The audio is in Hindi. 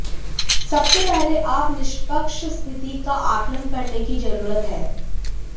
सबसे पहले आप निष्पक्ष स्थिति का आकलन करने की जरूरत है